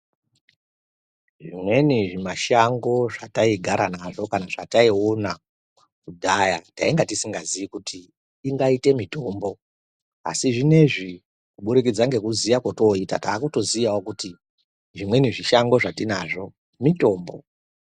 Zvimweni zvimashango zvataogara nazvo kana zvataiona kudhaya tainga tisingazi kuti ingaite mutombo asi izvinezvi kubudikidza ngekuziya kotoita takutoziyawo kuti zvimweni zvishango zvatinazvo mutombo.